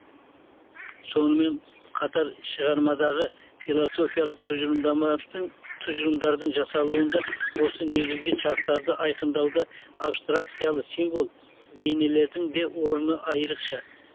сонымен қатар шығармадағы философиялық тұжырымдардың жасалуында осы негізгі шарттарды айқындауда абстракциялы символ бейнелердің де орны айрықша